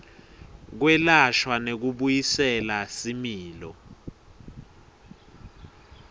kwelashwa nekubuyisela similo